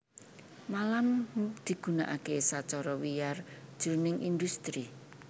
Malam digunakaké sacara wiyar jroning indhustri